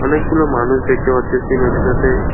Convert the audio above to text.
অনেকগুলো মানুষ দেখতে পারতেসি নদীটাতে।